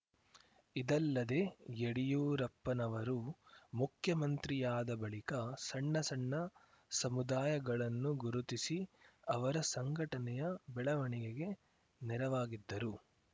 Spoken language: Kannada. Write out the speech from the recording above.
ಇದಲ್ಲದೆ ಯಡಿಯೂರಪ್ಪನವರು ಮುಖ್ಯಮಂತ್ರಿಯಾದ ಬಳಿಕ ಸಣ್ಣ ಸಣ್ಣ ಸಮುದಾಯಗಳನ್ನು ಗುರುತಿಸಿ ಅವರ ಸಂಘಟನೆಯ ಬೆಳವಣಿಗೆಗೆ ನೆರವಾಗಿದ್ದರು